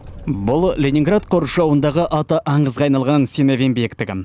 бұл ленинград қоршауындағы аты аңызға айналған синявин биіктігі